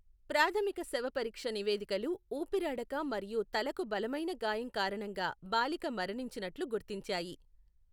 ప్రాథమిక శవపరీక్ష నివేదికలు ఊపిరాడక మరియు తలకు బలమైన గాయం కారణంగా బాలిక మరణించినట్లు గుర్తించాయి.